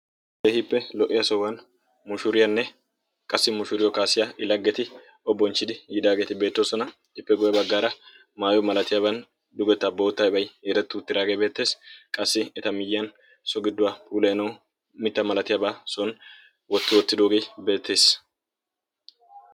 Keehiippe lo"iya sohuwan mushuuriyaanne qassi mushuuriyo kaasiya i laggeti o bonchchidi yiidaageeti beettoosona. ippe guye baggaara maayo malatiyaaban dugeta boottabay yeerettuutiraagee beettees. qassi eta miyyiyan so gidduwaa puleeno mitta malatiyaabaa soni wotti wottidoogee beettees.